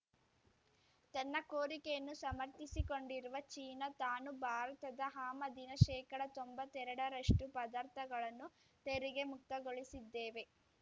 ತನ್ನ ಕೋರಿಕೆಯನ್ನು ಸಮರ್ಥಿಸಿಕೊಂಡಿರುವ ಚೀನಾ ತಾನು ಭಾರತದ ಆಮದಿನ ಶೇಕಡ ತೊಂಬತ್ತೆರಡ ರಷ್ಟು ಪದಾರ್ಥಗಳನ್ನು ತೆರಿಗೆ ಮುಕ್ತಗೊಳಿಸಿದ್ದೇವೆ